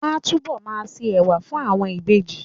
Wọ́n á túbọ̀ ma se ẹ̀wà fún àwọn ìbejì